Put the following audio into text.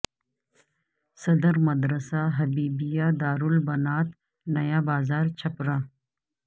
صدر مدرس مدرسہ حبیبیہ دار البنات نیا بازار چھپرہ